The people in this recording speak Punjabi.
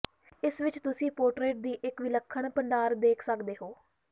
ਇਸ ਵਿੱਚ ਤੁਸੀਂ ਪੋਰਟਰੇਟ ਦੀ ਇੱਕ ਵਿਲੱਖਣ ਭੰਡਾਰ ਦੇਖ ਸਕਦੇ ਹੋ